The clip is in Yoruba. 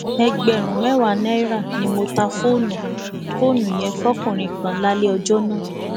ẹgbẹrún mẹwàá náírà ni mo ta fóònù fóònù yẹn fókunrin kan lálẹ ọjọ náà